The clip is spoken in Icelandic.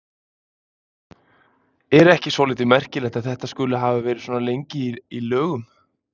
Er þetta ekki svolítið merkilegt að þetta skuli hafa verið svona lengi í lögum?